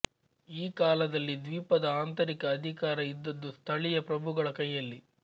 ಈ ಕಾಲದಲ್ಲಿ ದ್ವೀಪದ ಆಂತರಿಕ ಅಧಿಕಾರ ಇದ್ದದ್ದು ಸ್ಥಳೀಯ ಪ್ರಭುಗಳ ಕೈಯಲ್ಲಿ